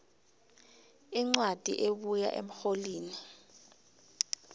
incwadi ebuya emrholini